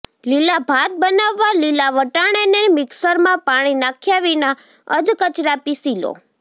લીલા ભાત બનાવવા લીલા વટાણાને મિકસરમાં પાણી નાખ્યા વિના અધકચરા પીસી લો